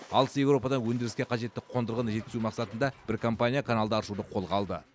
алыс еуропадан өндіріске қажетті қондырғыны жеткізу мақсатында бір компания каналды аршуды қолға алды